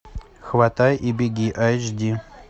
хватай и беги айч ди